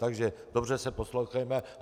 Takže dobře se poslouchejme.